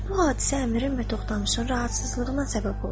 Bu hadisə əmirin və Toxtamışın narahatlığına səbəb oldu.